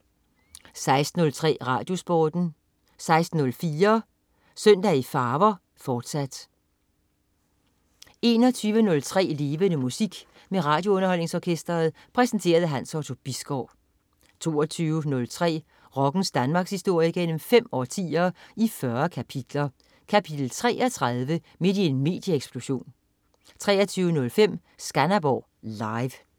16.03 RadioSporten 16.04 Søndag i farver, fortsat 21.03 Levende Musik. Med RadioUnderholdningsOrkestret. Præsenteret af Hans Otto Bisgaard 22.03 Rockens Danmarkshistorie gennem 5 årtier, i 40 kapitler. Kapitel 33: Midt i en medieeksplosion 23.05 Skanderborg Live